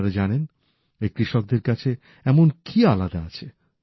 আপনারা জানেন এই কৃষকদের কাছে এমন কি আলাদা আছে